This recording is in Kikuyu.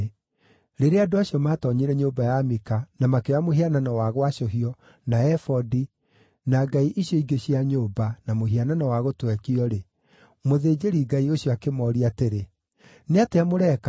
Rĩrĩa andũ acio maatoonyire nyũmba ya Mika na makĩoya mũhianano wa gwacũhio, na ebodi, na ngai icio ingĩ cia nyũmba, na mũhianano wa gũtwekio-rĩ, mũthĩnjĩri-ngai ũcio akĩmooria atĩrĩ, “Nĩ atĩa mũreka?”